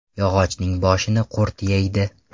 Yog‘ochning bo‘shini qurt yeydi.